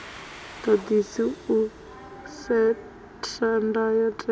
ḓaḓisi u setha ndayo tewa